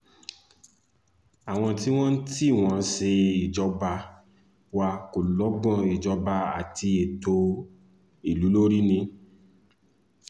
àwọn tí wọ́n tí wọ́n ń ṣèjọba wa kò lọ́gbọ́n ìjọba àti ètò ìlú lórí ni